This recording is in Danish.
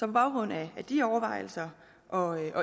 baggrund af de overvejelser og